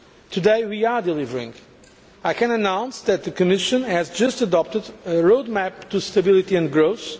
Today we are delivering I can announce that the Commission has just adopted a road map for stability and growth.